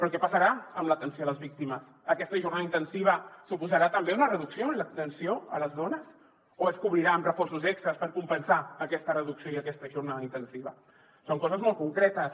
què passarà amb l’atenció a les víctimes aquesta jornada intensiva suposarà també una reducció en l’atenció a les dones o es cobrirà amb reforços extres per compensar aquesta reducció i aquesta jornada intensiva són coses molt concretes